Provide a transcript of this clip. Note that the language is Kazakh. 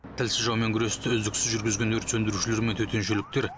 тілсіз жаумен күресті үздіксіз жүргізген өрт сөндірушілер мен төтеншеліктер